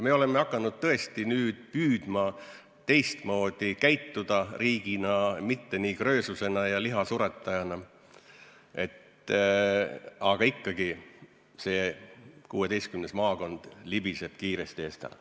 Me oleme nüüd tõesti hakanud püüdma käituda riigina teistmoodi, mitte kröösuse ja lihasuretajana, aga ikkagi libiseb see 16. maakond kiiresti eest ära.